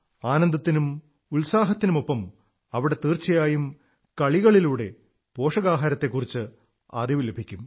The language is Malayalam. ആനന്ദത്തിനും ഉത്സാഹത്തിനുമൊപ്പം അവിടെ തീർച്ചയായും കളികളിലൂടെ പോഷകാഹാരത്തെക്കുറിച്ച് അറിവ് ലഭിക്കും